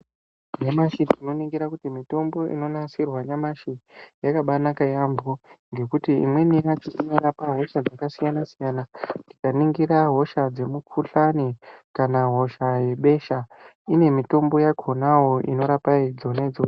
Nyamashi tinoningura kuti mitombo inonasirwa nyamashi yakabaanaka yaambo, ngekuti imweni yacho inorapa hosha dzakasiyana-siyana .Tikaningira, hosha dzemukhuhlani kana hosha yebesha ine mitombo yakhonawo inorapa dzona idzodzo.